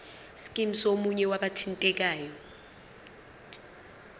scheme somunye wabathintekayo